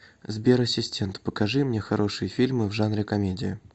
сбер ассистент покажи мне хорошие фильмы в жанре комедия